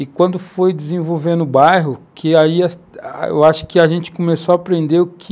E quando foi desenvolvendo o bairro, que aí eu acho que a gente começou a aprender o que